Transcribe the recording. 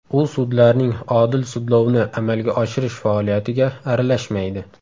U sudlarning odil sudlovni amalga oshirish faoliyatiga aralashmaydi.